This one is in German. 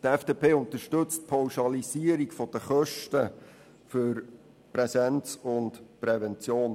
Die FDP unterstützt die Pauschalisierung der Kosten für Präsenz und Prävention.